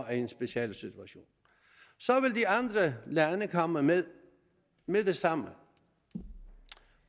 er i en speciel situation så vil de andre lande komme med med det samme